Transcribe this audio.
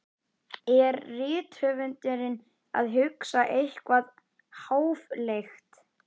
Er rithöfundurinn að hugsa eitthvað háfleygt?